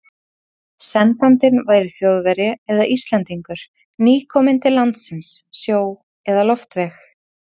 Sendandinn væri Þjóðverji eða Íslendingur, nýkominn til landsins sjó- eða loftveg.